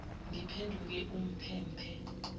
ngiphenduke umphe mphe